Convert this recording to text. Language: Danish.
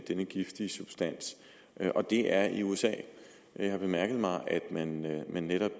denne giftige substans og det er i usa jeg har bemærket mig at man netop